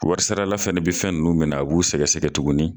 Warisarala fɛnɛ bɛ fɛn ninnu min a b'u sɛgɛsɛgɛ tugun